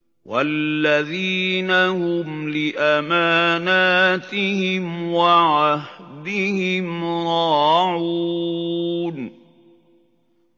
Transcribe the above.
وَالَّذِينَ هُمْ لِأَمَانَاتِهِمْ وَعَهْدِهِمْ رَاعُونَ